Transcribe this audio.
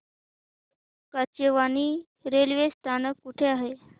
Kachewani railway स्थानक कुठे आहे